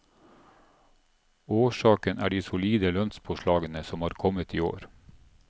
Årsaken er de solide lønnspåslagene som har kommet i år.